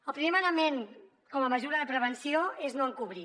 el primer manament com a mesura de prevenció és no encobrir